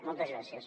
moltes gràcies